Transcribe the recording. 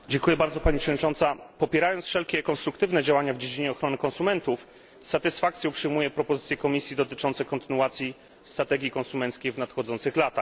Pani Przewodnicząca! Popierając wszelkie konstruktywne działania w dziedzinie ochrony konsumentów, z satysfakcją przyjmuję propozycje Komisji dotyczące kontynuacji strategii konsumenckiej w nadchodzących latach.